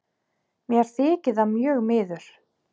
Mér þykir það mjög miður.